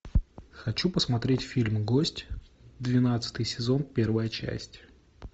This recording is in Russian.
хочу посмотреть фильм гость двенадцатый сезон первая часть